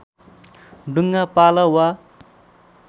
डुङ्गा पाल वा